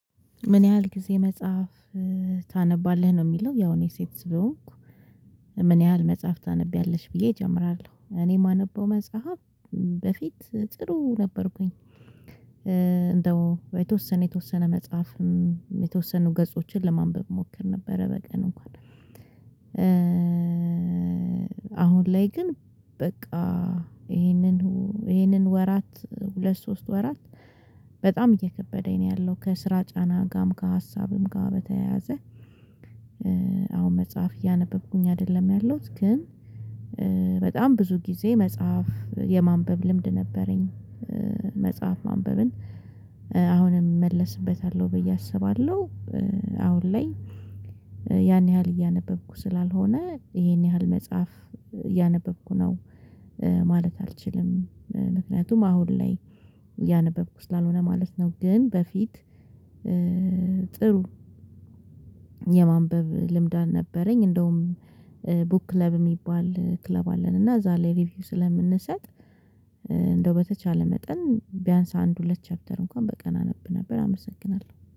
ምን ያህል ጊዜ መጽሐፍ ታነባለህ ነው ሚለው ያው እኔ ሴት ስለሆንኩ ምን ያህል መጽሐፍ ታነቢያለሽ ብዬ እጀምራለሁ እኔ ማነበው መጽሐፍ በፊት ጥሩ ነበርኩኝ እንደው የተወሰነ የተወሰነ መጽሐፍም የተወሰኑ ገጾችን ለማንበብ ሞክር ነበረ በቀን እንኳን አሁን ላይ ግን በቃ ይሄንን ይህንን ወራት ሁለት ሶስት ወራት በጣም እየከበደኝ ነው ያለው ከስራ ጫናጋም ከሀሳብም ጋር በተያያዘ አሁን መጽሐፍ እያነበብኩኝ አደለም ያለሁት ግን በጣም ብዙ ጊዜ መጽሐፍ የማንበብ ልምድ ነበረኝ መጽሐፍ ማንበብን አሁንም እመለስበታለሁ ብዬ አስባለሁ አሁን ላይ ያን ያህል እያነበብኩ ስላልሆነ ይሄን ያህል መጽሐፍ እያነበብኩ ነው ማለት አልችልም ምክንያቱም አሁን ላይ እያነበብኩ ስላልሆነ ማለት ነው ግን በፊት ጥሩ የማንበብ ልምድ አልነበረኝ እንደውም ቡክ ክለብ ሚባል ክለብ አለን እና ላይ ሪቪው ስለምንሰጥ እንደው በተቻለ መጠን ቢያንስ አንድ ሁለት ቻፕተር እንኳን በቀን አነብ ነበር አመሰግናለሁ።